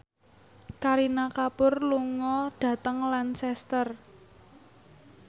Kareena Kapoor lunga dhateng Lancaster